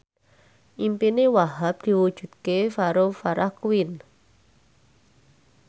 impine Wahhab diwujudke karo Farah Quinn